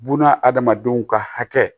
Bununa adamadenw ka hakɛ